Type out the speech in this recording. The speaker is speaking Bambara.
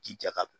Ji jaka